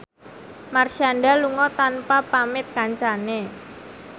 Marshanda lunga tanpa pamit kancane